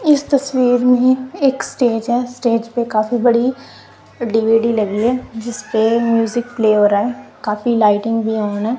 इस तस्वीर में एक स्टेज है स्टेज पे काफी बड़ी डी_वी_डी लगी है जिसपे म्यूजिक प्ले हो रहा है काफी लाइटिंग भी ऑन है।